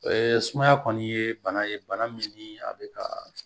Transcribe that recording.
sumaya kɔni ye bana ye bana min ni a bɛ ka